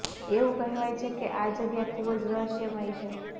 એવું કહેવાય છે કે આ જગ્યા ખુબ જ રહસ્યમયી છે